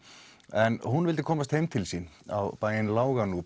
en hún vildi komast heim til sín á bæinn